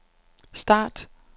start